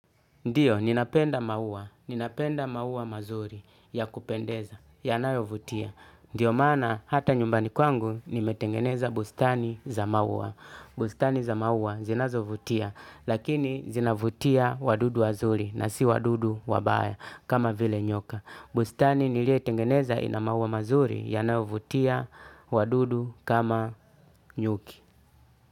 Ndiyo, ninapenda mauwa, ninapenda mauwa mazuri ya kupendeza, yanayovutia. Ndiyo maana, hata nyumbani kwangu, nimetengeneza bustani za mauwa. Bustani za maua zinazovutia, lakini zinavutia wadudu wazuri na si wadudu wa baya kama vile nyoka. Bustani niliyoitengeneza ina maua mazuri, yanayovutia wadudu kama nyuki.